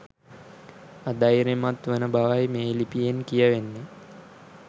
අධෛර්යමත් වන බවයි මේ ලිපියෙන් කියවෙන්නේ